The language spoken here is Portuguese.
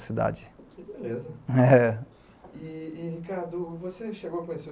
cidade. Que beleza. É. E, Ricardo, você chegou a conhecer